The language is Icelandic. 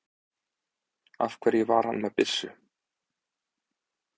Af hverju var hann með byssu?